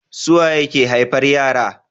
Su waye ke haifar yara